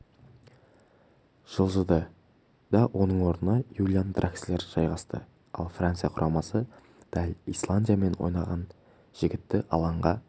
жылжыды да оның орнына юлиан дракслер жайғасты ал франция құрамасы дәл исландиямен ойнаған жігітті алаңға